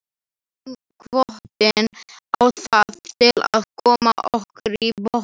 Kynhvötin á það til að koma okkur í bobba.